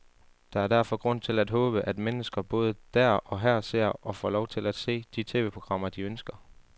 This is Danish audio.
Der er derfor grund til at håbe, at mennesker både der og her ser, og får lov til at se, de tv-programmer, de ønsker.